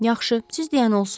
Yaxşı, siz deyən olsun.